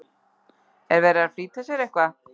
Er verið að flýta sér eitthvað?